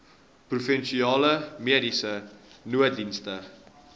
provinsiale mediese nooddienste